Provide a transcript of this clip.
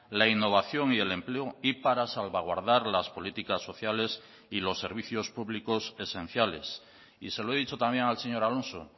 la innovación y el empleo y para salvaguardar las políticas sociales y los servicios públicos esenciales y se lo he dicho también al señor alonso